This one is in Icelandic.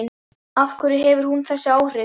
Af hverju hefur hún þessi áhrif?